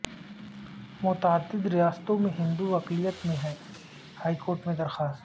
متعدد ریاستوں میں ہندو اقلیت میں ہیں ہائیکورٹ میں درخواست